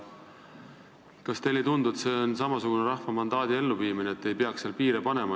Kas teile ei tundu, et rahvas on meile andnud mandaadi selleks, et me ei seaks neid piire?